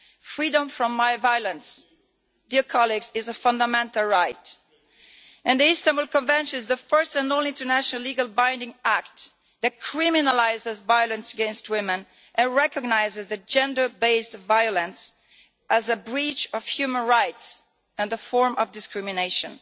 Freedom from violence, dear colleagues, is a fundamental right, and the Istanbul Convention is the first and only international legally binding act that criminalises violence against women and recognises gender based violence as a breach of human rights and a form of discrimination.